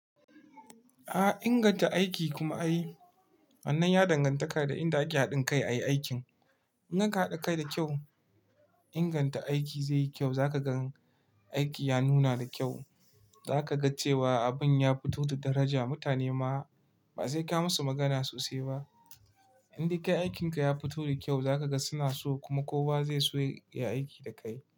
A inganta aiki kuma ai. Wannan ya dangantaka da inda ake haɗin kai ayi aikin. In aka haɗa kai da kyau inganta aiki zai yi kyau za ka gan aiki ya nuna da kyau. Za ka ga cewa abun ya fito da daraja. Mutane ma ba sai ka musu magana sosai ba. Indai kai aikinka ya fito da kyau za ka ga suna so kuma kowa zai so ya yi aiki da kai.